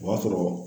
O b'a sɔrɔ